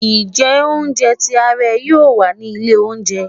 njé ounjẹ ti a ré yíò wá ni ilé oúnjẹ